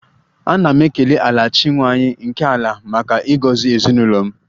Ana m ekele 'Ala' chi nwanyị nke ala maka ịgọzi ezinụlọ m